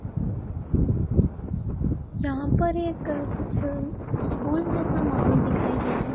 यहां पर एक कुछ स्कूल जैसा माहौल दिखाई दे रहा है।